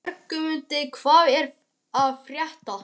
Bjargmundur, hvað er að frétta?